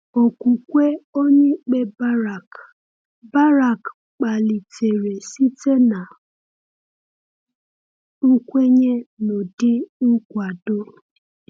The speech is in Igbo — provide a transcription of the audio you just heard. Okwukwe onyeikpe Barak Barak kpalitere site na nkwenye n'ụdị nkwado.